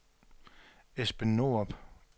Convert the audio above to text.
Esben Norup